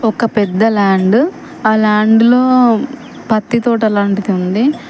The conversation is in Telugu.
ఒక పెద్ద ల్యాండ్ . ఆ ల్యాండ్ లో పత్తి తోట లాంటిది ఉంది.